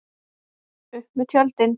Upp með tjöldin!